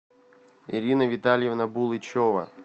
ирина витальевна булычева